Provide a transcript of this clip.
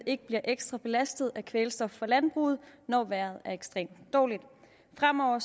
ikke bliver ekstra belastet af kvælstof fra landbruget når vejret er ekstremt dårligt fremover